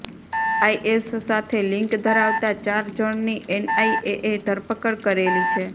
IAS સાથે link ધરાવતા ચાર જણની એનઆઈએએ ધરપકડ કરેલી છે